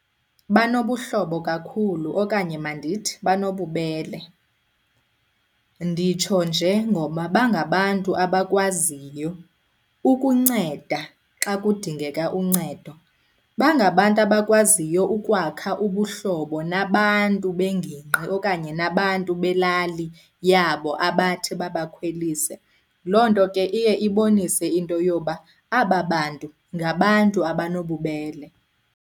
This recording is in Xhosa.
Banobuhlobo kakhulu okanye mandithi banobubele. Nditsho nje ngoba bangabantu abakwaziyo ukunceda xa kudingeka uncedo. Bangabantu abakwaziyo ukwakha ubuhlobo nabantu bengingqi okanye nabantu belali yabo abathi babakhwelise. Loo nto ke iye ibonise into yoba aba bantu ngabantu abanobubele.